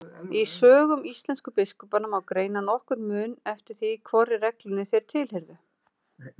Í sögum íslensku biskupanna má greina nokkurn mun eftir því hvorri reglunni þeir tilheyrðu.